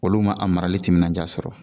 Olu ma a marali timinanja sɔrɔ